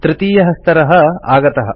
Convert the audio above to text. तृतीयः स्तरः आगतः